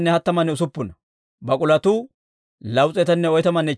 gaalotuu 435; haretuu k'ay 6,720.